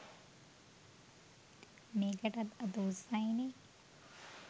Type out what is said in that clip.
මෙකටත් අත උස්සයිනෙ.